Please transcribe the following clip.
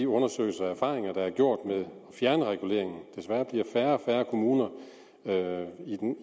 undersøgelser og erfaringer med at fjerne reguleringen desværre bliver færre og færre kommuner